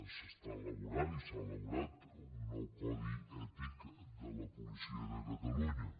s’està elaborant i s’ha elaborat un nou codi ètic de la policia de catalunya